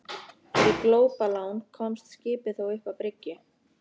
Fyrir glópalán komst skipið þó upp að bryggju.